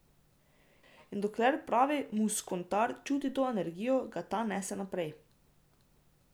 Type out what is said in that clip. In dokler pravi muskontar čuti to energijo, ga ta nese naprej.